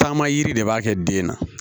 Taama yiri de b'a kɛ den na